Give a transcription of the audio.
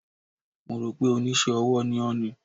Mo rò pé Oníṣẹ́-ọwọ́ ni ó ni.